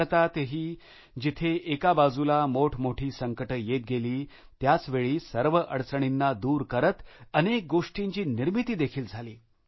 भारतातही जिथे एका बाजूला मोठमोठी संकटे येत गेली त्याचवेळी सर्व अडचणींना दूर करत अनेक गोष्टींची निर्मिती देखील झाली